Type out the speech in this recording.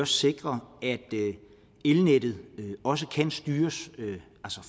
sikrer at elnettet også kan styres